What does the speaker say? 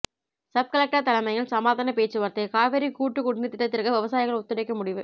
sub-collector தலைமையில் சமாதான பேச்சுவார்த்தை காவிரி கூட்டு குடிநீர் திட்டத்திற்கு விவசாயிகள் ஒத்துழைக்க முடிவு